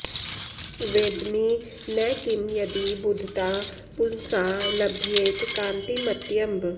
वेद्मि न किं यदि बुधता पुंसा लभ्येत कान्तिमत्यम्ब